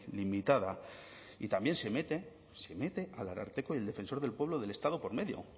limitada y también se mete el ararteko y el defensor del pueblo del estado por medio